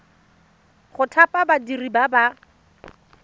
go thapa badiri ba ba